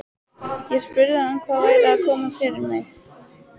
Ég spurði hann hvað væri að koma fyrir mig.